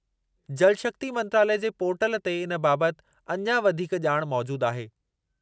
जल शक्ति मंत्रालयु जे पोर्टल ते इन बाबति अञा वधीक ॼाण मौजूदु आहे।